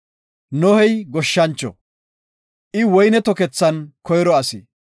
Nohey goshshancho; I woyne tokethan koyro asi.